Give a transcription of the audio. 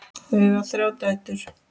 Þau eiga þrjár dætur.